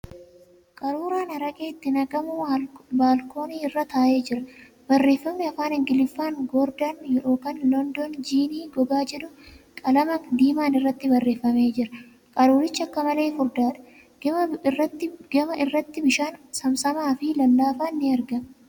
Qaruuraa araqeen itti naqamu baalkoonii irra taa'ee jira. Barreeffamni Afaan Ingilifaan ' Goordan, London jiinii gogaa ' jedhu qalama diimaan irratti barreeffamee jira. Qaruuricha akka malee furdaadha. Gama irratti bishaan saamsamaa fi lallaafaan ni argama.